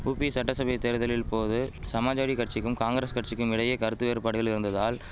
உபி சட்டசபை தேர்தலில் போது சமாஜ்வாடி கட்சிக்கும் காங்கிரஸ் கட்சிக்கும் இடையே கருத்து வேறுபாடுகள் இருந்ததால்